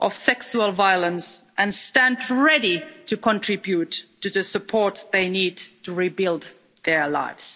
of sexual violence, and stand ready to contribute to the support they need to rebuild their lives.